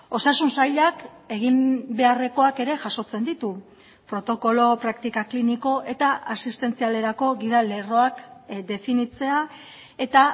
osasun sailak egin beharrekoak ere jasotzen ditu protokolo praktika kliniko eta asistentzialerako gida lerroak definitzea eta